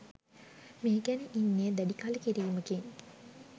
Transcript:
මේ ගැන ඉන්නේ දැඩි කළකිරීමකින්